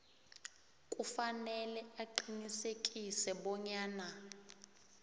kufanele aqinisekise bonyana